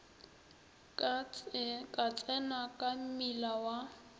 ka tsena ka mmila wa